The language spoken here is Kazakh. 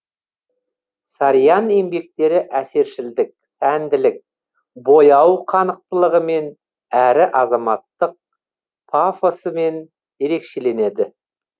сарьян еңбектері әсершілдік сәнділік бояу қанықтылығымен әрі азаматтық пафосымен ерекшеленеді